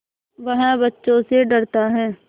वह बच्चों से डरता है